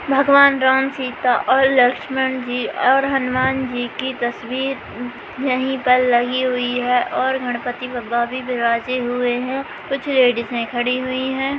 भगवान राम सीता और लक्ष्मण और हनुमान जी की तस्वीर यहीं पर लगी हुई और गणपति बप्पा भी विराजे हुए हैं कुछ लेडिस खड़ी हुई है।